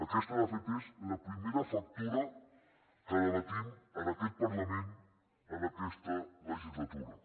aquesta de fet és la primera factura que debatem en aquest parlament en aquesta legislatura